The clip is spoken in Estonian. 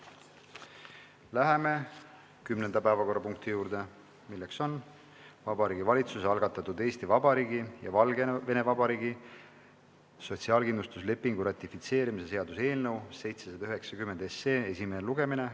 Läheme kümnenda päevakorrapunkti juurde, milleks on Vabariigi Valitsuse algatatud Eesti Vabariigi ja Valgevene Vabariigi sotsiaalkindlustuslepingu ratifitseerimise seaduse eelnõu 790 esimene lugemine.